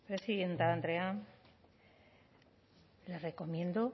presidenta andrea le recomiendo